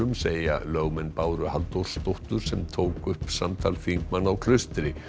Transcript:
segja lögmenn Báru Halldórsdóttur sem tók upp samtal þingmanna á Klaustri